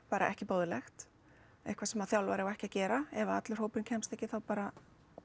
bara ekki boðlegt eitthvað sem þjálfari á ekki að gera ef allur hópurinn kemst ekki þá bara